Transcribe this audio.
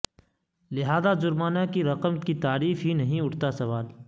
لہذا جرمانہ کی رقم کی تعریف ہی نہیں اٹھتا سوال